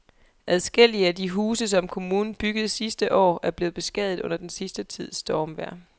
Adskillige af de huse, som kommunen byggede sidste år, er blevet beskadiget under den sidste tids stormvejr.